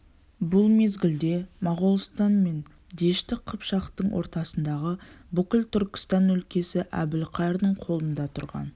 бұл мезгілде моғолстан мен дәшті қыпшақтың ортасындағы бүкіл түркістан өлкесі әбілқайырдың қолында тұрған